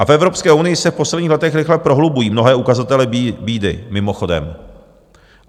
A v Evropské unii se v posledních letech rychle prohlubují mnohé ukazatele bídy, mimochodem.